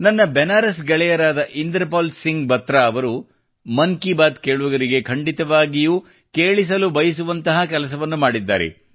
ನನ್ನ ಬೆನಾರಸ್ ಗೆಳೆಯರಾದ ಇಂದ್ರಪಾಲ್ ಸಿಂಗ್ ಬಾತ್ರಾ ಅವರು ಮನ್ ಕಿ ಬಾತ್ ಕೇಳುಗರಿಗೆ ಖಂಡಿತವಾಗಿಯೂ ಕೇಳಿಸಲು ಬಯಸುವಂತಹ ಕೆಲಸವನ್ನು ಮಾಡಿದ್ದಾರೆ